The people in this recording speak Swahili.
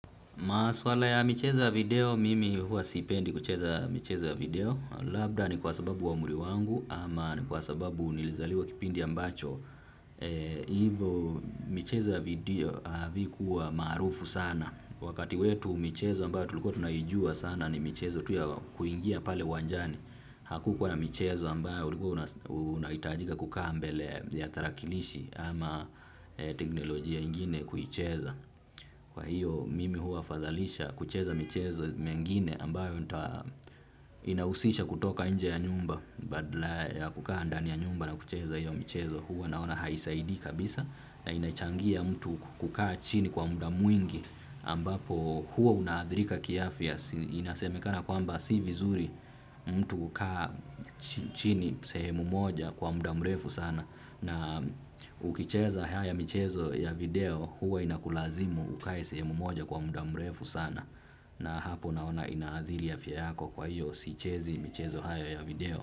Maswala ya michezo ya video, mimi hua sipendi kucheza michezo ya video, labda ni kwa sababu wa umri wangu ama ni kwa sababu nilizaliwa kipindi ambacho, hivyo michezo ya video havikuwa maarufu sana, wakati wetu michezo ambayo tulikuwa tunaijua sana ni michezo tu ya kuingia pale uwanjani, hakukuwa na michezo ambayo unahitajika kukaa mbele ya tarakilishi ama teknolojia ingine kuicheza. Kwa hiyo mimi huwa fadhalisha kucheza michezo mengine ambayo inahusisha kutoka nje ya nyumba. Badala ya kukaa ndani ya nyumba na kucheza hiyo michezo huwa naona haisaidii kabisa. Na inachangia mtu kukaa chini kwa muda mwingi ambapo huwa unaadhirika kiafya. Inasemekana kwamba si vizuri mtu kukaa chini sehemu moja kwa muda mrefu sana. Na ukicheza haya michezo ya video huwa inakulazimu ukae sehemu moja kwa muda mrefu sana na hapo naona ina athiri ya afya yako kwa hiyo siichezi michezo hayo ya video.